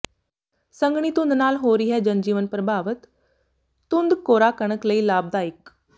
ਸੰਘਣੀ ਧੁੰਦ ਨਾਲ ਹੋ ਰਿਹੈ ਜਨਜੀਵਨ ਪ੍ਰਭਾਵਿਤ ਧੁੰਦ ਕੋਰਾ ਕਣਕ ਲਈ ਲਾਭਦਾਇਕ